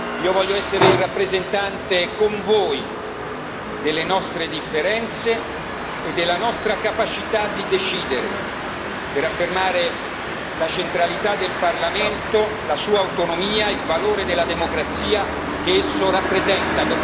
Io voglio essere il rappresentante, con voi, delle nostre differenze e della nostra capacità di decidere, per affermare la centralità del Parlamento, la sua autonomia e il valore della democrazia che esso rappresenta.